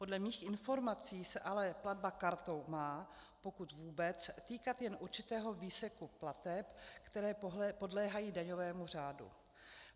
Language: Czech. Podle mých informací se ale platba kartou má, pokud vůbec, týkat jen určitého výseku plateb, které podléhají daňovému řádu.